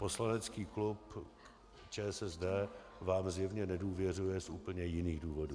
Poslanecký klub ČSSD vám zjevně nedůvěřuje z úplně jiných důvodů.